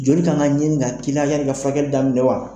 Joli ka kan ka ka ɲini ka kila yani i ka furakɛli daminɛ wa?